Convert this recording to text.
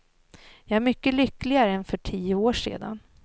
Jag är mycket lyckligare än för tio år sedan.